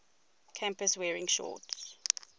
campus wearing shorts